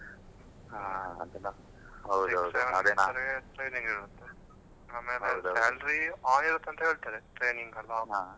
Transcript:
ಹಾ ಆಮೇಲೆ salary on ಇರುತ್ತೆ ಅಂತ ಹೇಳ್ತಾರೆ training .